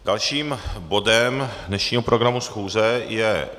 Dalším bodem dnešního programu schůze je